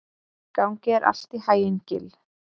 Gangi þér allt í haginn, Gill.